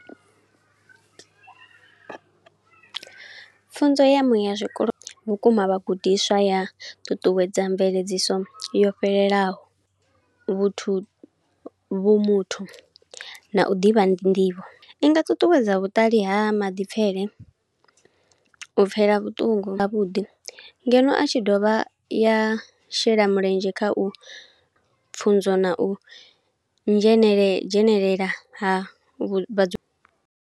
Pfunzo ya muya zwikolo vhukuma vhagudiswa ya ṱuṱuwedza mveledziso yo fhelelaho. Vhuthu vhumuthu na u ḓivha nḓivho, i nga ṱuṱuwedza vhuṱali ha maḓipfele, u pfela vhuṱungu ha vhuḓi, ngeno a tshi dovha ya shela mulenzhe kha u pfunzo na u nzhenelela dzhenelela ha vhu vhadzu.